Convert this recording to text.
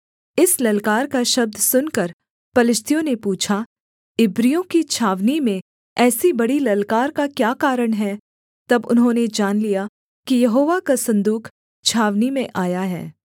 इस ललकार का शब्द सुनकर पलिश्तियों ने पूछा इब्रियों की छावनी में ऐसी बड़ी ललकार का क्या कारण है तब उन्होंने जान लिया कि यहोवा का सन्दूक छावनी में आया है